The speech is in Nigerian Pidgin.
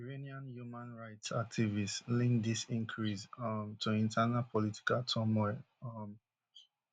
iranian human rights activists link dis increase um to internal political turmoil um